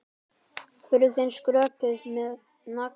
Hurðin skröpuð með nagla.